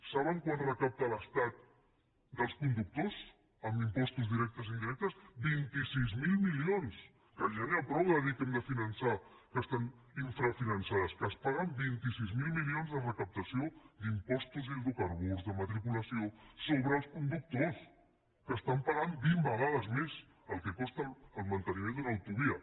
saben quant recapta l’estat dels conductors amb impostos directes i indirectes vint sis mil milions que ja n’hi ha prou de dir que hem de finançar que estan infrafinançades que es paguen vint sis mil milions de recaptació d’impostos d’hidrocarburs de matriculació sobre els conductors que estan pagant vint vegades més del que costa el manteniment d’una autovia